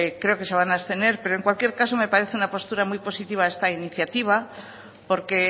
se van a abstener pero en cualquier caso me parece una postura muy positiva esta iniciativa porque